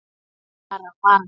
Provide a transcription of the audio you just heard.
Hún bara varð.